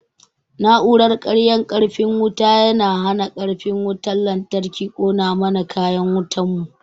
Na'uran karya karfin wuta yana hana karfin wutan lantarki kona mana kayan wutan mu